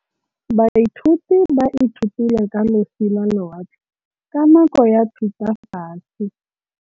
Baithuti ba ithutile ka losi lwa lewatle ka nako ya Thutafatshe.